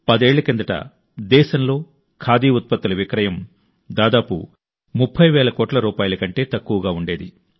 పదేళ్ల కిందట దేశంలో ఖాదీ ఉత్పత్తుల విక్రయం దాదాపు 30 వేల కోట్ల రూపాయల కంటే తక్కువగా ఉండేది